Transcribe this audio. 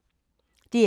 DR K